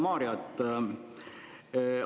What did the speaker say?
Hea Mario!